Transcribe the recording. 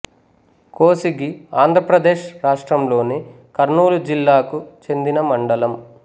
కోసిగి ఆంధ్ర ప్రదేశ్ రాష్ట్రంలోని కర్నూలు జిల్లాకు చెందిన మండలం